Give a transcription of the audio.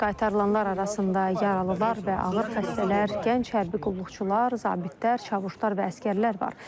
Qaytarılanlar arasında yaralılar və ağır xəstələr, gənc hərbi qulluqçular, zabitlər, çavuşlar və əsgərlər var.